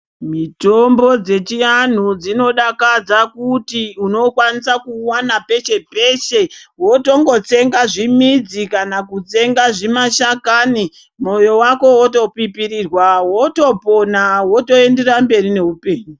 Mitombo dzechi anhu dzinodakadza kuti uno kwanisa kuwu wana peshe peshe wotongo tsenga zvimidzi kana ku tsenga zvima shakani moyo wako woto pipirirwa woto pona woto enderera kumberi ne upenyu.